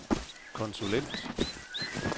konsulent